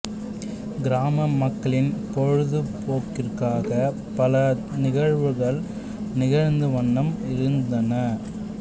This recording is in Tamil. கிராம மக்களின் பொழுது போக்கிற்காக பல நிகழ்வுகள் நிகழ்ந்த வண்ணம் இருந்தன